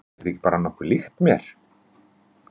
Er þetta ekki bara nokkuð líkt mér?